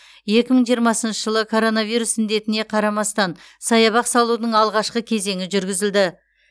екі мың жиырмасыншы жылы коронавирус індетіне қарамастан саябақ салудың алғашқы кезеңі жүргізілді